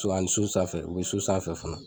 A ni so sanfɛ u bɛ so sanfɛ fana